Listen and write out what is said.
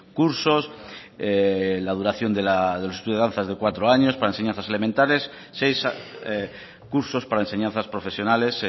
cursos la duración de los estudios de danza es de cuatro años para enseñanzas elementales seis cursos para enseñanzas profesionales